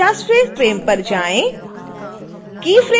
अब 50